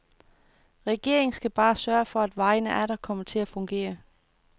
Regeringen skal bare sørge for, at vejene atter kommer til at fungere.